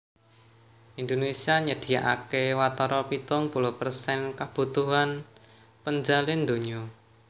Indonesia nyadiakaké watara pitung puluh persen kabutuhan penjalin donya